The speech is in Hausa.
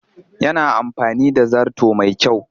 Yana da amfani da zarto mai kyau